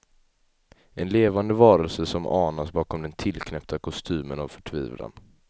En levande varelse som anas bakom den tillknäppta kostymen av förtvivlan.